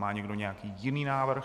Má někdo nějaký jiný návrh?